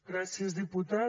gràcies diputat